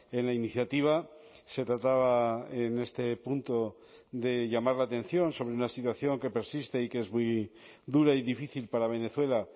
en la iniciativa se trataba en este punto de llamar la atención sobre una situación que persiste y que es muy dura y difícil para venezuela